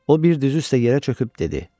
O bir düz üstə yerə çöküb dedi: